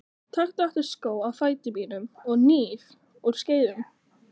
Taktu aftur skó af fæti mínum og hníf úr skeiðum.